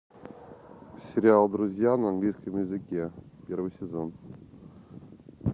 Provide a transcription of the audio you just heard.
сериал друзья на английском языке первый сезон